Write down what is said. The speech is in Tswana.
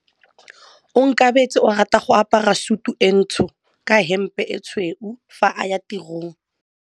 Onkabetse o rata go apara sutu e ntsho ka hempe e tshweu fa a ya tirong.